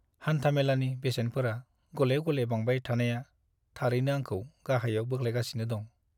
हानथामेलानि बेसेनफोरा गले-गले बांबाय थानाया थारैनो आंखौ गाहायाव बोख्लायगासिनो दं।